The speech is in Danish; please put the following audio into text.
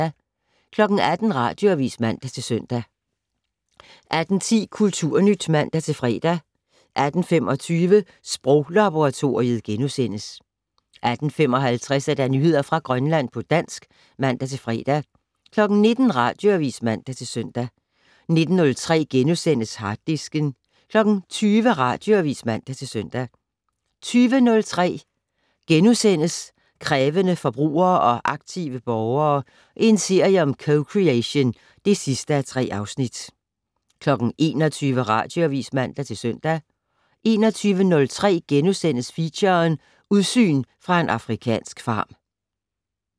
18:00: Radioavis (man-søn) 18:10: Kulturnyt (man-fre) 18:25: Sproglaboratoriet * 18:55: Nyheder fra Grønland på dansk (man-fre) 19:00: Radioavis (man-søn) 19:03: Harddisken * 20:00: Radioavis (man-søn) 20:03: Krævende forbrugere og aktive borgere - en serie om co-creation (3:3)* 21:00: Radioavis (man-søn) 21:03: Feature: Udsyn fra en afrikansk farm *